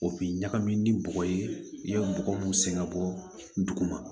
O bi ɲagami ni bɔgɔ ye i be bɔgɔ mun sɛgɛn bɔ